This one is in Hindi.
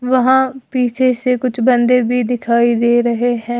वहां पीछे से कुछ बंदे भी दिखाई दे रहे हैं।